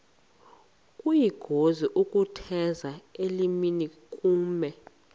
kuyingozi ukutheza elinenkume